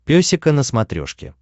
песика на смотрешке